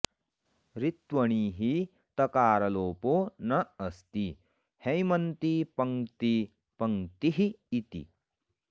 ऋत्वणि हि तकारलोपो न अस्ति हैमन्ति पङ्क्ती पङ्क्तिः इति